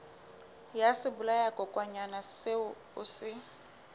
ya sebolayakokwanyana seo o se